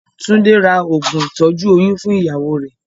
Túndé ra oògùn ìtọ́jú oyún fún ìyàwó rẹ̀.